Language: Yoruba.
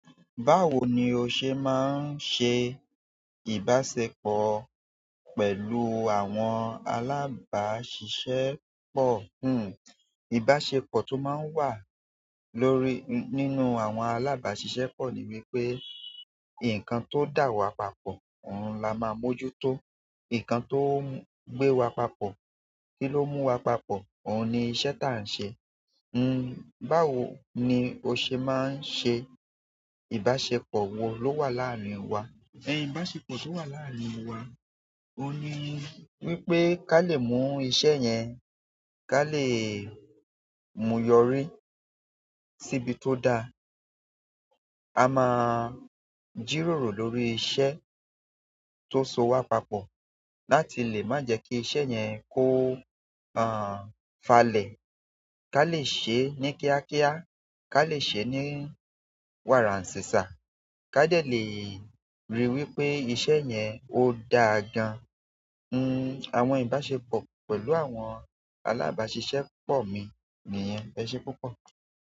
Báwo ni o ṣe máa ń ṣe ìbáṣepọ̀ pẹ̀lú àwọn alábáṣiṣẹ́pọ̀? Ìbáṣepọ̀ tó máa ń wà lórí nínú àwọn alábáṣiṣẹ́pọ̀ ni wípé nǹkan tó dà wá papọ̀, òun la máa mójú tó. Nǹkan tó ń gbé wa papọ̀, kí ló mú wa papọ̀, òun ni iṣẹ́ taà ń ṣe. Báwo ni o ṣe máa ń ṣe ìbáṣepọ̀? Wo ló wà láàárín wa? Ìbáṣepọ̀ tó wà láàárín wa, òun ni wípé ká lè mú iṣẹ́ yẹn, ká lè mú yọrí síbi tó da. A máa jìròrò lórí iṣẹ́ tó so wa papọ̀ láti lè má jẹ kí iṣẹ́ yẹn kó falẹ̀. Ká lè ṣe é ní kíákíá, ká lè ṣe é ní wàràn ṣìṣà, ká de lè ríi wípé iṣẹ́ yen ó dáa gan. Àwọn ìbáṣepọ̀ pẹ̀lú àwọn alábáṣiṣẹ́pọ̀ mi níyen. Ẹṣe púpọ̀.